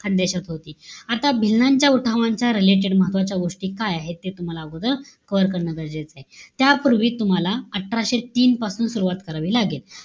खान्देशात होती. आता भिल्लांच्या उठावाच्या related महत्वाच्या गोष्टी काय आहे? ते तुम्हाला अगोदर cover करणं गरजेचंय. त्यापूर्वी तुम्हाला, अठराशे तीन पासून सुरवात करावी लागेल.